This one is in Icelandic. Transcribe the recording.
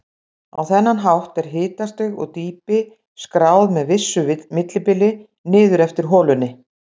Á þennan hátt er hitastig og dýpi skráð með vissu millibili niður eftir holunni.